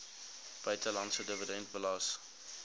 buitelandse dividend belas